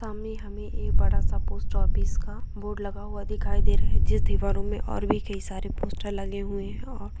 सामने हमें एक बड़ा-सा पोस्ट ऑफिस का बोर्ड लगा दिखाई दे रहा है जिसकी दीवारो में और भी कई सारे पोस्टर लगे हुए है और --